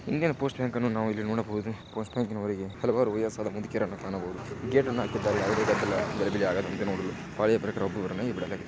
Indian post bank ಅನ್ನು ನಾವು ಇಲ್ಲಿ ನೋಡಬಹುದು. ಪೋಸ್ಟ್ ಬ್ಯಾಂಕಿನ ಹೊರಗೆ ಹಲವಾರು ವಯಸ್ಸಾದ ಮುದುಕಿಯರನ್ನು ಕಾಣಬಹುದು. ಗೇಟ್ ಅನ್ನು ಹಾಕಿದ್ದಾರೆ ಯಾವುದೇ ಗದ್ದಲ ಗಲಿಬಿಲಿ ಹಾಗದಂತೆ ನೋಡಲು.